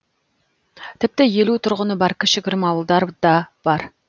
тіпті елу тұрғыны бар кішігірім ауылдар да бар